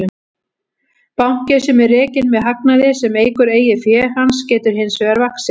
Banki sem er rekinn með hagnaði sem eykur eigin fé hans getur hins vegar vaxið.